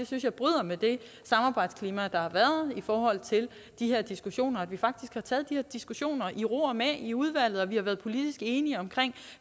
synes jeg bryder med det samarbejdsklima der har været i forhold til de her diskussioner og at vi faktisk har taget de her diskussioner i ro og mag i udvalget og vi har været politisk enige om